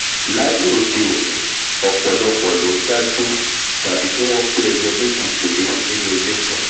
láíyé òde òní ọ̀pọ̀lọpọ̀ ló ndá gbé tàbí kí wọ́n pé ẹyọ méjì péré nínú ilé kan